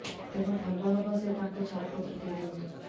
ତେଣୁ ଭଲ ହବ ସେ ତାଙ୍କୁ ଛାଡ଼ପତ୍ର ଦେଇ ଦିଅନ୍ତୁ